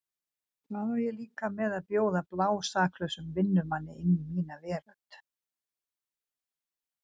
Hvað á ég líka með að bjóða blásaklausum vinnumanni inn í mína veröld.